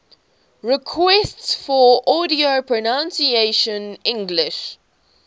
requests for audio pronunciation english